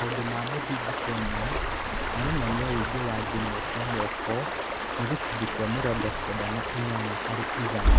Maũndũ ma mũthingi Kenya maronania ũingĩ wa thimu cia moko nĩ gĩcunjĩ kĩa mĩrongo kenda na inyanya harĩ igana.